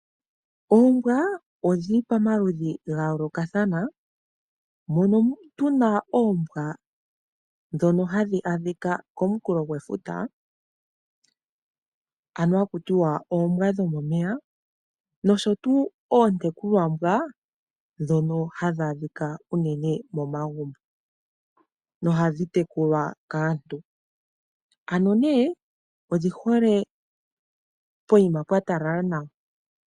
Oombwa odhi li pamaludhi ga yoolokathana. Opu na oombwa ndhoka hadhi adhika komunkulofuta, ndhoka haku tiwa oombwa dhomomeya, nosho wo oontekulwambwa ndhono hadhi adhika unene momagumbo nohadhi tekulwa kaantu. Odhi hole pokuma pwa talala nawa.